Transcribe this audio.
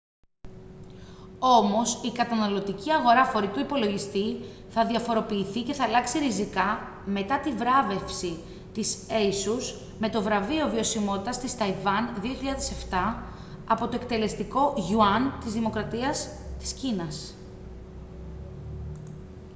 όμως η καταναλωτική αγορά φορητού υπολογιστή θα διαφοροποιηθεί και θα αλλάξει ριζικά μετά τη βράβευση της asus με το βραβείο βιωσιμότητας της ταϊβάν 2007 από το εκτελεστικό γιουάν της δημοκρατία της κίνας